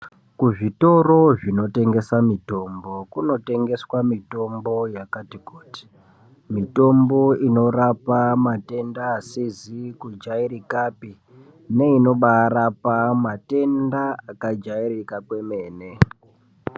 Kuzvitoro zvinotengesa mitombo kunotengeswa mitombo yakati kuti mitombo inorapa matenda asizi kujairika pa neinorapa matenda akajairika kwemene.